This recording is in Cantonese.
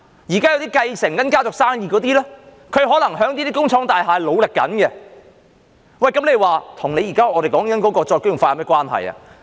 現時繼承家族生意的人，可能在這些工廠大廈正在努力，這與我們現時所說的再工業化有何關係？